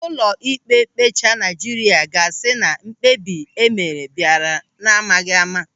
Ụlọịkpe mkpecha Naịjirịa ga-asị na mkpebi e mere bịara n'amaghị ama.